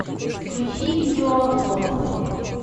включи видеообзор